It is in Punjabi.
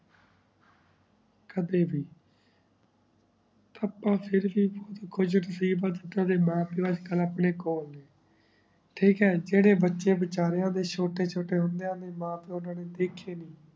ਕਦੇ ਵੀ ਆਪਾਂ ਫਿਰ ਵੀ ਕੁਜ reliable ਤੂਤਾਂ ਦੇ ਮਾਂ ਪੀਏਓ ਇਸ ਤਰਹ ਅਪਨੇ ਕੋਲ ਵੀ ਟਾਕ ਹੈ ਜਯ੍ਰਾਯ ਬਚੇ ਬਚਾਰਿਯਾ ਦੇ ਛੋਟੇ ਛੋਟੇ ਹੁੰਦੇ ਆ ਨੀ ਮਾਂ ਪੀਏਓ ਓਨਾ ਨੇ ਦਯ੍ਖ੍ਯ ਨਾਈ